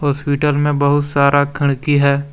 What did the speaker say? Hospital में बहुत सारा खिड़की है।